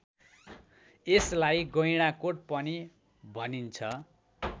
यसलाई गैँडाकोट पनि भनिन्छ